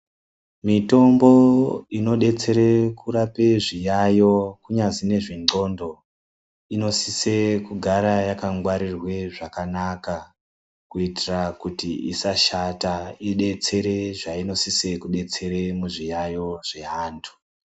Mitombo inodetsere kurape zviyayo kunyazi nezvendxondo. Inosise kugara yakangwarirwe zvakanaka kuitira kuti isashata, idetsere zvainosise kudetsere muzviyayo zvevantu